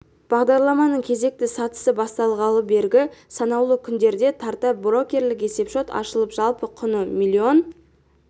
бағдарламаның кезекті сатысы басталғалы бергі санаулы күндерде тарта брокерлік есепшот ашылып жалпы құны млн